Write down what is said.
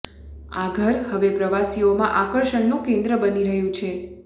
આ ઘર હવે પ્રવાસીઓમાં આકર્ષણનું કેંદ્ર બની રહ્યું છે